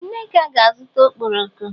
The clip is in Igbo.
Ee Nneka ga-azụta ọkpọrọko.